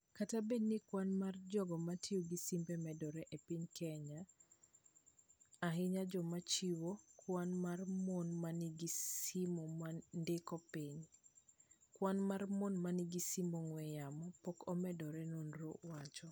" Kata bedo ni kwan mar jogo matio gi simbe medore epiny Kenya, ahinya joma chwo, kwan mar mon manigi simo nodok piny. Kwan mar mon manigi simb ong'we yamo pok omedore," Nonro wacho.